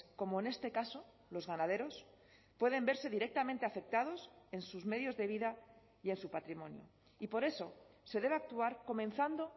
como en este caso los ganaderos pueden verse directamente afectados en sus medios de vida y en su patrimonio y por eso se debe actuar comenzando